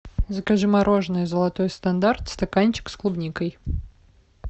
закажи мороженое золотой стандарт стаканчик с клубникой